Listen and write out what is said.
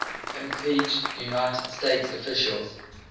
impeached united states officials